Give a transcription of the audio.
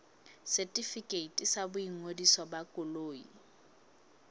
setefikeiti sa boingodiso ba koloi